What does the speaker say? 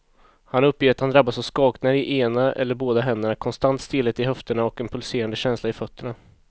Han uppger att han drabbas av skakningar i ena eller båda händerna, konstant stelhet i höfterna och en pulserande känsla i fötterna.